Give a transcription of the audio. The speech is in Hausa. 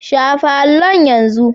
Shafa allon yanzu!